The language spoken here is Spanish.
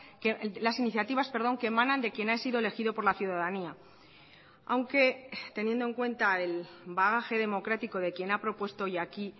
que las iniciativas que emanan de quién ha sido elegido por la ciudadanía aunque teniendo en cuenta el bagaje democrático de quien ha propuesto hoy aquí